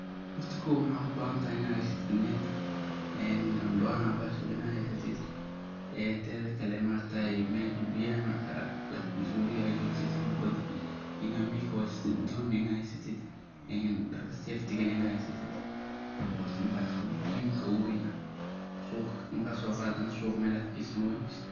Horta kow maxa ubahantahay inaa haysatid net, ondowana bahaash ladaho inaa haysatid. Tedhkale, mesha biyaha marka lagta mise wabiga aad jogtid ama bada, inaa [mwiko] haysatid, doon inaa ahysitid, dharka safetiga inaa haysatid. Hort intaas ayaa muhiimka ugu weyn ah. Markaad soo qaado, suuqa meel aad ka geysid ma wayneysid.